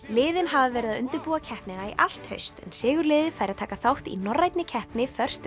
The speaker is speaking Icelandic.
liðin hafa verið að undirbúa keppnina í allt haust en sigurliðið fær að taka þátt í norrænni keppni